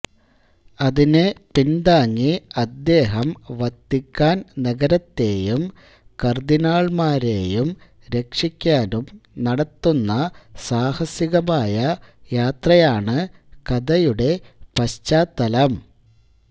അതിനെ പിൻതാങ്ങി അദ്ദേഹം വത്തിക്കാൻ നഗരത്തെയും കര്ദിനാള്മാരെയും രക്ഷിക്കാനും നടത്തുന്ന സാഹസികമായ യാത്രയാണ് കഥയുടെ പശ്ചാത്തലം